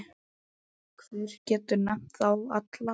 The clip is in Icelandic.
Hver getur nefnt þá alla?